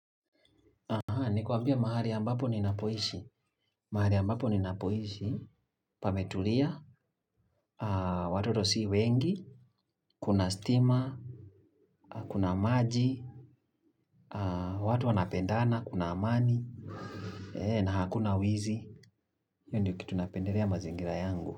Nikuambie mahali ambapo ninapoishi, pametulia, watoto si wengi, kuna stima, kuna maji, watu wanapendana kuna amani, na hakuna wizi. Hiyo ndio kitu napendelea mazingira yangu.